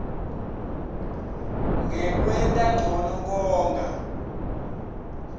ngekwenta ncono konga